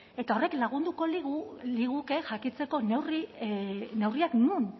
eta horrek lagunduko liguke jakiteko neurriak non